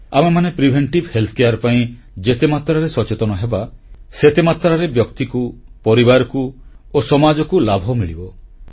ଆମେମାନେ ପ୍ରତିଶେଧକ ସ୍ୱାସ୍ଥ୍ୟ ସେବା ପାଇଁ ଯେତେ ମାତ୍ରାରେ ସଚେତନ ହେବା ସେତେ ମାତ୍ରାରେ ବ୍ୟକ୍ତିକୁ ପରିବାରକୁ ଓ ସମାଜକୁ ଲାଭ ମିଳିବ